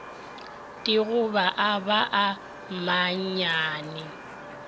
digoba a ba a mannyane